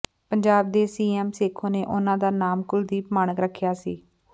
ਪੰਜਾਬ ਦੇ ਸੀਐਮ ਸੇਖੋਂ ਨੇ ਉਹਨਾਂ ਦਾ ਨਾਮ ਕੁਲਦੀਪ ਮਾਣਕ ਰੱਖਿਆ ਸੀ